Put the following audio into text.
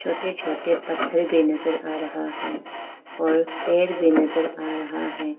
छोटे छोटे पत्थर भी नजर आ रहा है और पेड़ भी नजर आ रहा है।